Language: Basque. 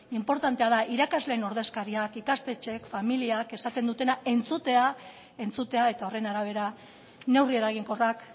inportantea da irakasleen ordezkariek ikastetxeek familiek esaten dutena entzutea eta horren arabera neurri eraginkorrak